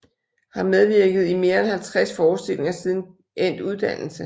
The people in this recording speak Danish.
Har medvirket i mere end 50 forestillinger siden endt uddannelse